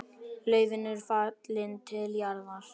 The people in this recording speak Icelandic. Laufin eru fallin til jarðar.